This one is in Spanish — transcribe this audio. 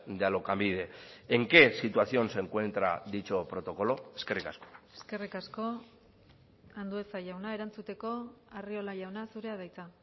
de alokabide en qué situación se encuentra dicho protocolo eskerrik asko eskerrik asko andueza jauna erantzuteko arriola jauna zurea da hitza